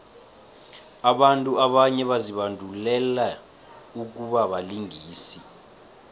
abantu abanye bazibandulele ukubabalingisi